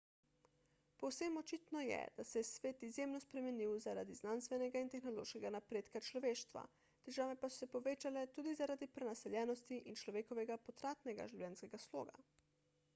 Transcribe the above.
povsem očitno je da se je svet izjemno spremenil zaradi znanstvenega in tehnološkega napredka človeštva težave pa so se povečale tudi zaradi prenaseljenosti in človekovega potratnega življenjskega sloga